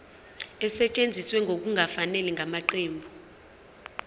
esetshenziswe ngokungafanele ngamaqembu